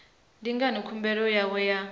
ndi ngani khumbelo yawe ya